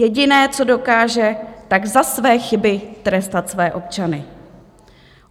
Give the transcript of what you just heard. Jediné, co dokáže, tak za své chyby trestat své občany.